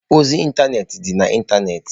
Ozi ịntanetị dị na ịntanetị.